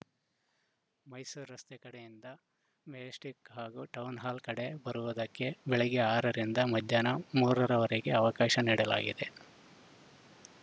ಮೈಸೂರು ರಸ್ತೆ ಕಡೆಯಿಂದ ಮೆಜೆಸ್ಟಿಕ್‌ ಹಾಗೂ ಟೌನ್‌ ಹಾಲ್‌ ಕಡೆ ಬರುವುದಕ್ಕೆ ಬೆಳಗ್ಗೆ ಆರ ರಿಂದ ಮಧ್ಯಾಹ್ನ ಮೂರ ರವರೆಗೆ ಅವಕಾಶ ನೀಡಲಾಗಿದೆ